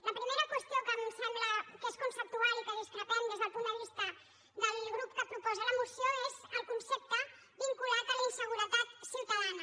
la primera qüestió que em sembla que és conceptual i de la qual discrepem des del punt de vista del grup que proposa la moció és el concepte vinculat a la inseguretat ciutadana